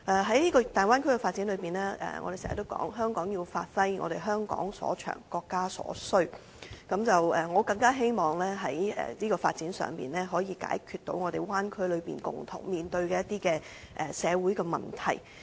在大灣區發展中，我們經常說香港要發揮香港所長、國家所需，我更希望在這個發展上，可以解決灣區內共同面對的一些社會問題。